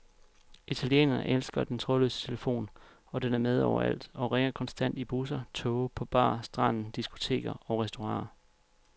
Italienerne elsker den trådløse telefon, og den er med overalt og ringer konstant i busser, toge, på bar, stranden, diskoteker og restauranter.